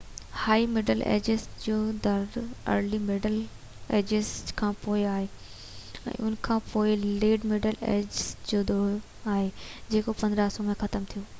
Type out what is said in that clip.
هائي middle ages جو دور early middle ages کان پوءِ آهيو ۽ ان کان پوءِ ليٽ مڊل ايجز جو دور آهيو جيڪو 1500 ۾ ختم ٿيو